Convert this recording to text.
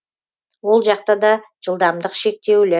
ол жақта да жылдамдық шектеулі